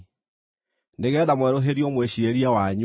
nĩgeetha mwerũhĩrio mwĩciirĩrie wanyu;